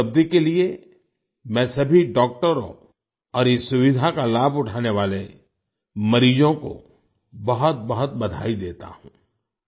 इस उपलब्धि के लिए मैं सभी डॉक्टरों और इस सुविधा का लाभ उठाने वाले मरीजों को बहुतबहुत बधाई देता हूँ